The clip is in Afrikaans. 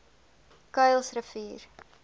kuilsrivier